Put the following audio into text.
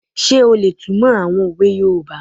Ṣé o lè túnmọ̀ àwọn òwe yoòbá?